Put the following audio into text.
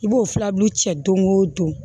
I b'o filabulu cɛ don o don